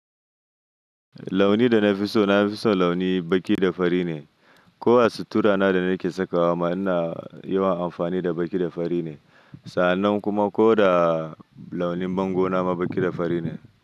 Launi da na fi so, na fi son launi baƙi da fari ne. Ko a sutura na da nake sakawa, ma ina yawan amfani da baƙi da fari ne. Sa'annan kuma ko da launin bango na ma baƙi da fari ne.